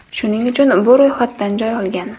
Shuning uchun bu ro‘yxatdan joy olgan.